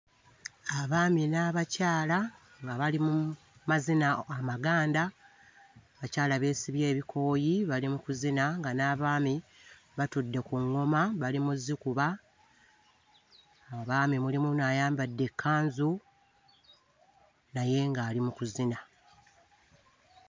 Abaami n'abakyala nga bali mu mazina amaganda. Bakyala beesibye ebikooyi bali mu kuzina nga n'abaami batudde ku ŋŋoma bali mu zzikuba. Mu baami mulimu n'ayambadde ekkanzu naye ng'ali mu kuzina.